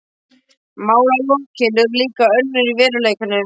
Málalokin urðu líka önnur í veruleikanum.